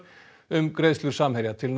um greiðslur Samherja til